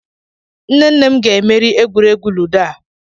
Nne nne m ga emeri egwuregwu ludo a.